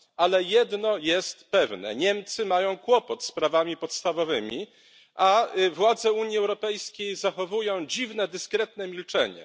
Ale jedno jest pewne Niemcy mają kłopot z prawami podstawowymi, a władze Unii Europejskiej zachowują dziwne dyskretne milczenie.